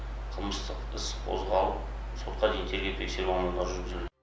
қылмыстық іс қозғалып сотқа дейінгі тергеу тексеру амалдары жүргізілді